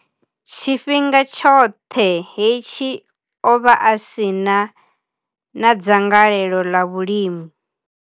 Tshifhinga tshoṱhe hetshi, o vha a si na dzangalelo ḽa vhulimi.